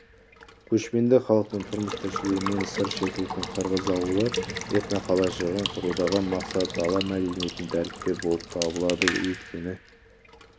көшпенді халықтың тұрмыс-тіршілігінен сыр шертетін қырғыз ауылы этноқалашығын құрудағы мақсат дала мәдениетін дәріптеу болып табылады өйткені